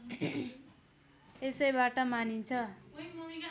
यसैबाट मानिन्छ